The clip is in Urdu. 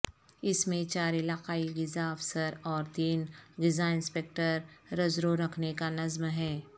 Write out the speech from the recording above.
اس میں چار علاقائی غذا افسر اور تین غذاانسپکٹر رزرو رکھنے کانظم ہے